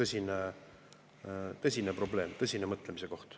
See on tõsine probleem, tõsine mõtlemise koht.